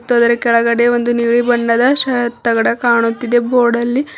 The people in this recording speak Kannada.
ಮತ್ತು ಅದರ ಕೆಳಗಡೆ ಒಂದು ನೀಲಿ ಬಣ್ಣದ ಶಾತ್ ತಗಡು ಕಾಣುತ್ತಿದೆ ಬೋರ್ಡಲ್ಲಿ.